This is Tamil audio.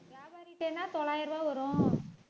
தொள்ளாயிரம் ரூபாய் வரும்